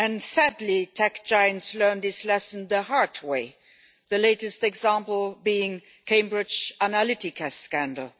Sadly, tech giants learned this lesson the hard way the latest example being the Cambridge Analytica scandal.